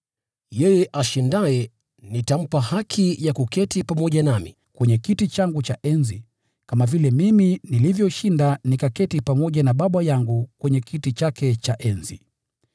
“Yeye ashindaye nitampa haki ya kuketi pamoja nami kwenye kiti changu cha enzi, kama vile mimi nilivyoshinda na nikaketi pamoja na Baba yangu kwenye kiti chake cha enzi.